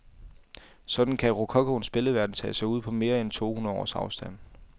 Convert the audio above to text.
Sådan kan rokokoens billedverden tage sig ud på mere end to hundrede års afstand.